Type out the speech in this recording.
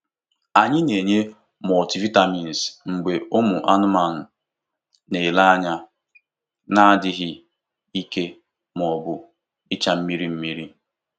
Anyị na-enye multivitamins mgbe ụmụ anụmanụ na-ele anya na-adịghị ike ma ọ bụ icha mmirimmiri.